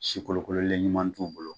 Sikolokololenɲuman t'u bolo